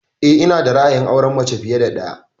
Eh, ina da ra'ayin auren mace fiye da ɗaya